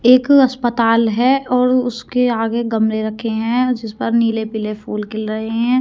एक अस्पताल है और उसके आगे गमले रखे हैं जिस पर नीले पीले फूल खिल रहे हैं।